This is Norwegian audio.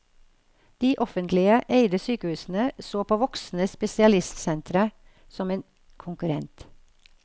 De offentlige eide sykehusene så på det voksende spesialistsenteret som en konkurrent.